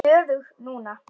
Ég er stöðug núna.